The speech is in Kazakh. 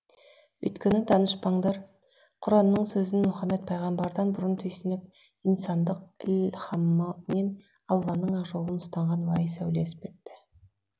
өйткені данышпандар құранның сөзін мұхаммед пайғамбардан бұрын түйсініп инсандық ілхамымен алланың ақ жолын ұстанған уәйіс әулие іспетті